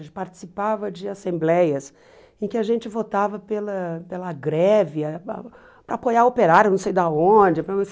A gente participava de assembleias em que a gente votava pela pela greve, para para apoiar operário, não sei de onde,